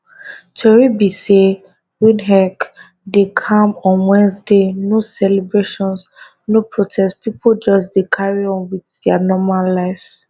tori be say windhoek dey calm on wednesday no celebrations no protests pipo just dey carry on wit dia normal lives